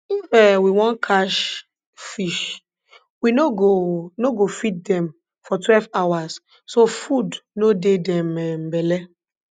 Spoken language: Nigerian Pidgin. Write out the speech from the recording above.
if um we want catch fish we no go no go feed dem for twelve hours so food no dey dem um belly